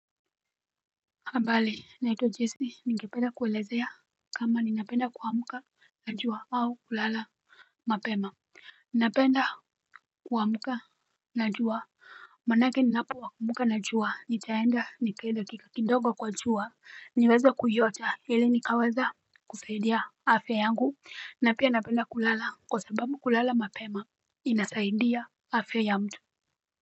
Habari, naitwa jesse ningependa kueleza kama ninapenda kuamka na jua au kulala mapema. Ninapenda kuwamuka na juwa. Manake ninapokuamka najua nitaenda nikae dakika kidogo kwa jua niweze kuiota ili nikaweze kusaidia afya yangu na pia napenda kulala kwa sababu kulala mapema inasaidia afya ya mtu.